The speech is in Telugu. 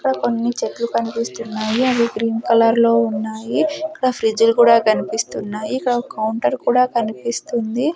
అక్కడ కొన్ని చెట్లు కన్పిస్తున్నాయి అవి గ్రీన్ కలర్లో ఉన్నాయి ఇక్కడ ఫ్రిజ్జు లు కూడా కన్పిస్తున్నాయి ఇక్కడ ఒక కౌంటర్ కూడా కనిపిస్తుంది.